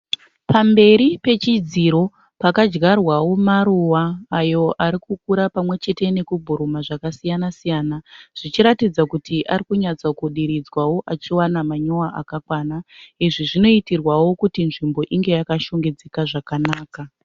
Pamberi pechidziro pakadyarwawo maruva ayo ari kukura pamwe chete nekubhuruma zvakasiyana siyana zvichiratidza kuti ari kunyatso kudiridzwawo achiwana manyowa akakwana izvi zvinoitirwawo kuti nzvimbo inge yakashongedzeka zvakanaka.